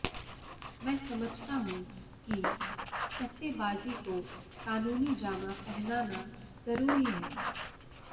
मैं समझता हूं कि सट्टेबाजी को कानूनी जामा पहनाना जरूरी है